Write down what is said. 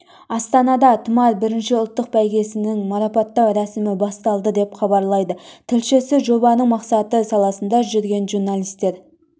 астанада тұмар бірінші ұлттық бәйгесінің марапаттау рәсімі басталды деп хабарлайды тілшісі жобаның мақсаты саласында жүрген журналистер